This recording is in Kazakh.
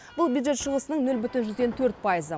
бұл бюджет шығысының нөл бүтін жүзден төрт пайызы